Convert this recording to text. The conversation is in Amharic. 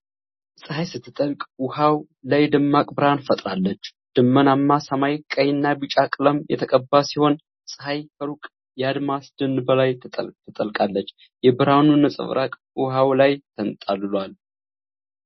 ፀሐይ ስትጠልቅ ውሃው ላይ ደማቅ ብርሃን ፈጥራለች። ደመናማ ሰማይ ቀይና ቢጫ ቀለም የተቀባ ሲሆን፣ ፀሐይ ከሩቅ የአድማስ ደን በላይ ትጠልቃለች። የብርሃኑ ነጸብራቅ ውሃው ላይ ተንጣሎዎል።